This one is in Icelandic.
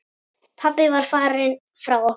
Pabbi var farinn frá okkur.